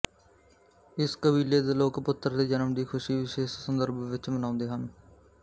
ਇਸ ਕਬੀਲੇ ਦੇ ਲੋਕ ਪੁੱਤਰ ਦੇ ਜਨਮ ਦੀ ਖੁਸ਼ੀ ਵਿਸ਼ੇਸ਼ ਸੰਦਰਭ ਵਿਚ ਮਨਾਉਂਦੇ ਹਨ